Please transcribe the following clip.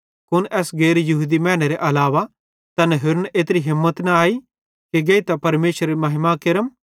कुन एस गैर यहूदी मैनेरे अलावा तैन होरन एत्री हिम्मत न अई कि गेइतां परमेशरेरी महिमा केरम